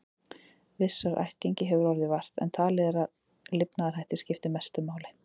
Vissrar ættgengi hefur orðið vart, en talið er að lifnaðarhættir skipti mestu máli.